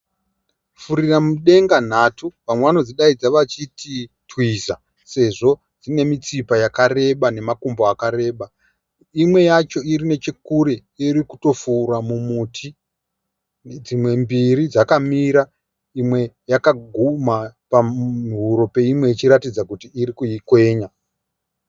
Furira mudenga nhatu vamwe vano dzidaidza vachiti twiza sezvo dziine mitsipa yakareba nemakumbo akareba. Imwe yacho iri nechekure iri kutofura mumuti dzimwe mbiri dzakamira imwe yakagumha pahuro peimwe ichiratidza kuti iri kuikwenya.